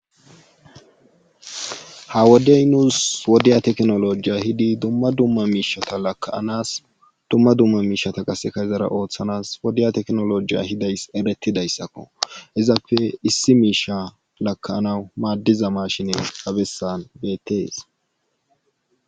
Ha wodey nuus wodiya teknolojiya hidi dumma dumma miishata lakaanas dumma dumma miishata qaseka ezara ooththanas wodiya teknolojiya hidays eretidayssakko izappe issi miisha lakaanaw maaddiza maashinen abessan bettees.